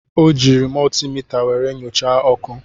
O jiiri mọltimita were nyochaa ọkụ.